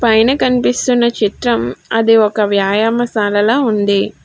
పైన కనిపిస్తున్న చిత్రం అదొక వ్యాయామశాలల ఉంది.